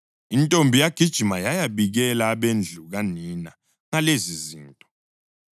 Intombi yagijima yayabikela abendlu kanina ngalezizinto.